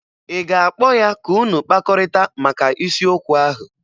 Ị ga-akpọ ya ka unu kpakọrịta maka isiokwu ahụ?